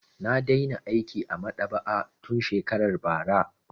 Na daina aiki a maɗaba'a tun shekarar bara.